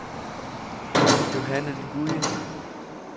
Johanne Nguyen